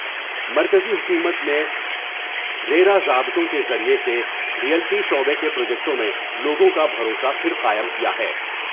مرکزی حکومت نے ریرا ضابطوں کے ذریعے سے ریئلٹی شعبے کے پروجیکٹوں میں لوگوں کا بھروسہ پھر قائم کیا ہے ۔